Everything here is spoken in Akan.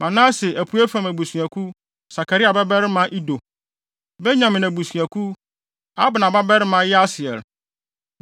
Manase (apuei fam) abusuakuw Sakaria babarima Ido; Benyamin abusuakuw: Abner babarima Yaasiel;